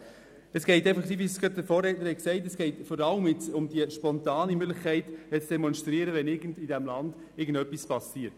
» Es geht, wie die Vorredner gesagt haben, um die Möglichkeit, spontan zu demonstrieren, wenn irgendetwas in diesem Land passiert.